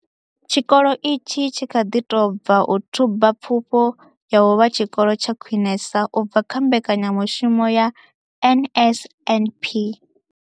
Tshikolo itshi tshi kha ḓi tou bva u thuba Pfufho ya u vha Tshikolo tsha Khwinesa u bva kha mbekanya mushumo ya NSNP.